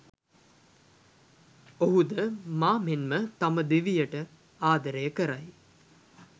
ඔහුද මා මෙන්ම තම දිවියට ආදරය කරයි.